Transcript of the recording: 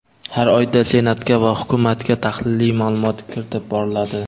har oyda Senatga va Hukumatga tahliliy ma’lumot kiritib boriladi.